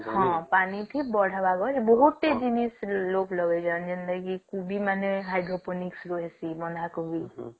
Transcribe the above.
ହଁ ପାନି କି ବଢାବ ପରେ ବୋହୁତ ଟି ଜିନିଷ ଲୋକ ଲଗେଇ ଜାଣିଛନ୍ତି ଯେନ୍ତାତି କି କୁବୀ ମାନେ hydrocolisc